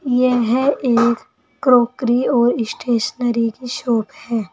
यह एक क्रोकरी और स्टेशनरी की शॉप है।